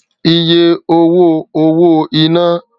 iye owó owó iná